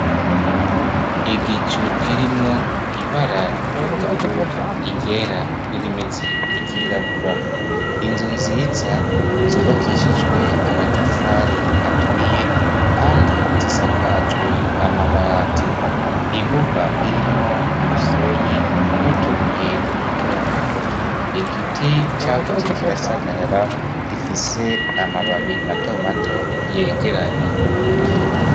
Igicu kirimwo ibara ry'ubururu ryera n'irimeze nk'iryirabura. Inzu nziza zubakishijwe amatafari aturiye, kandi zisakajwe amabati. Imbuga irimwo umusenyi n'utubuye duto duto. Igiti cakuze kirasagarara, gifise amababi mato mato yegeranye.